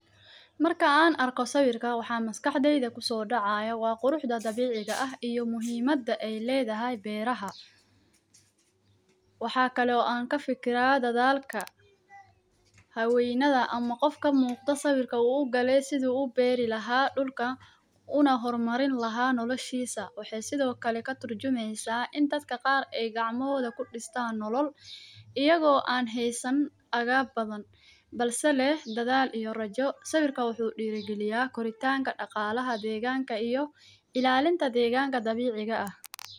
marka aan arko sawirka waxaa maskaxdeeda kuso dhacaya waa quruxda dabiiciga ah iyo muhiimada ay leedahay beeraha. waxa kaloo aan kafikiraa dadaalka haweeneda ama qof ka muuqda sawirka ugaley siduu ubeeri lahaa dhulka una hor marin lahaa nolashiisa waxee sido kale ka turjumeysa in dadka qaar ey gacmahooda kudhistaan nolol iyagoo aan heysan agab badan balse leh dadaal iyo rajo. sawirka wuxuu dhiiri galiyaa koritaanka dhaqaalaha deeganka iyo ilaalinta deeganka dabiiciga ah.